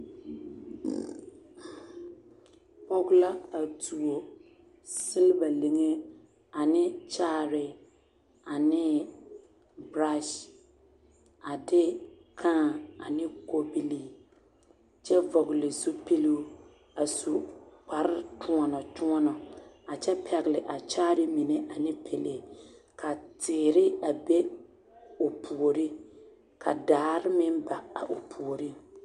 Pɔge la a tuo siliba liŋe ane kyaare ane berasi a de kãã ane kobilii kyɛ vɔgele zupiluu a su kpare kyoɔnɔ kyoɔnɔ a kyɛ pɛgele a kyaare mine ane pelee ka teere a be o puori ka daare meŋ ba a o puoriŋ.